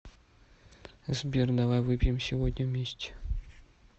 сбер давай выпьем сегодня вместе